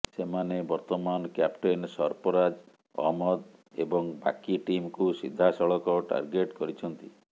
ସେମାନେ ବର୍ତ୍ତମାନ କ୍ୟାପଟେନ୍ ସର୍ଫରାଜ ଅହମ୍ମଦ ଏବଂ ବାକି ଟିମକୁ ସିଧାସଳଖ ଟାର୍ଗେଟ୍ କରିଛନ୍ତି